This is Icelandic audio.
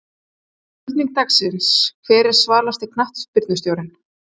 Spurning dagsins: Hver er svalasti knattspyrnustjórinn?